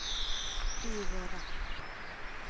byrådet